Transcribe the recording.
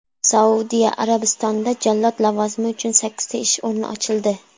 Saudiya Arabistonida jallod lavozimi uchun sakkizta ish o‘rni ochildi.